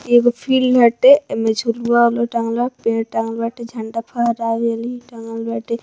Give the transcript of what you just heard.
एगो फील्ड हटे एमे झुलुआ-उलुआ टांगल बा पेड़ टांगल बाटे झंडा फहरावे ली टांगल बाटे।